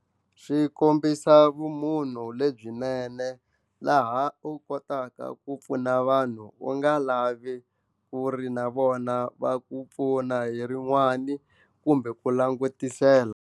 Swi kombisa vumunhu lebyinene laha u kotaka ku pfuna vanhu u nga lavi ku ri na vona va ku pfuna hi rin'wani kumbe ku langutisela.